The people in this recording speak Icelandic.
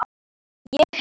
Ég heiti